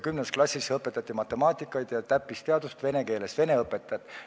10. klassis õpetati matemaatikat ja teisi täppisteadusi vene keeles, seda tegid vene õpetajad.